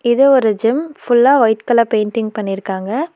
இது ஒரு ஜிம் ஃபுல்லா வொய்ட் கலர் பெயிண்டிங் பன்னிருக்காங்க.